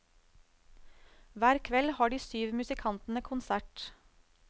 Hver kveld har de syv musikantene konsert.